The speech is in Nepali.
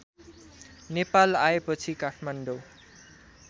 नेपाल आएपछि काठमाडौँ